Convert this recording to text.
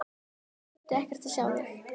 Ég þurfti ekkert að sjá þig.